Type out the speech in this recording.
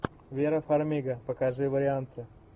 вера фармига покажи варианты